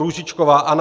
Růžičková Anna